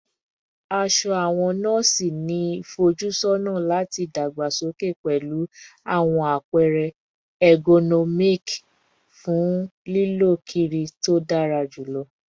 Aṣọ awọn nọọsi ni ifojusọna lati dagbasoke pẹlu awọn apẹrẹ ergonomic fun lilọ kiri to dara julọ